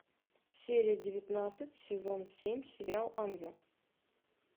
серия девятнадцать сезон семь сериал ангел